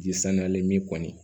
Ji saniyalen min kɔni